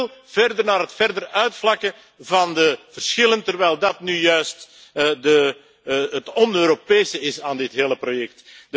U wil verder naar het verder uitvlakken van de verschillen, terwijl dat nu juist het on Europese is aan dit hele project.